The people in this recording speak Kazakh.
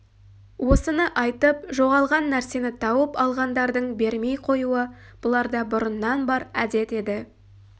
осыны айтып жоғалған нәрсені тауып алғандардың бермей қоюы бұларда бұрыннан бар әдет еді